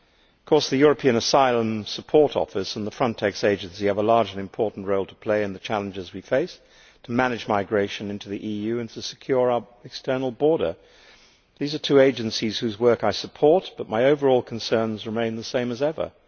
Of course the European Asylum Support Office and the Frontex Agency have a large and important role to play in the challenges we face to manage migration into the EU and to secure our external border. These are two agencies whose work I support, but my overall concerns remain the same as ever.